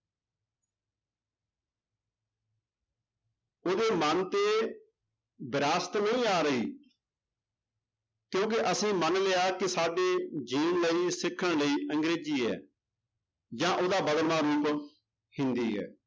ਉਹਦੇ ਮਨ ਤੇ ਵਿਰਾਸਤ ਨਹੀਂ ਆ ਰਹੀ ਕਿਉਂਕਿ ਅਸੀਂ ਮਨ ਲਿਆ ਕਿ ਸਾਡੇ ਜਿਉਣ ਲਈ ਸਿੱਖਣ ਲਈ ਅੰਗਰੇਜ਼ੀ ਹੈ ਜਾਂ ਉਹਦਾ ਬਦਲਵਾਂ ਰੂਪ ਹਿੰਦੀ ਹੈ